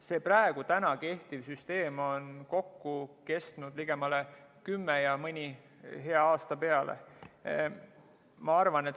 See praegu kehtiv süsteem on kokku kestnud kümme aastat ja mõni hea aasta veel peale.